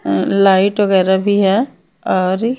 हम्म light वगैरह भी हैं औरी --